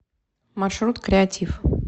маршрут креатив